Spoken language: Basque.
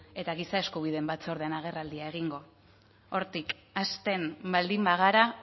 eta giza eskubideen batzordean agerraldia egingo hortik hasten baldin bagara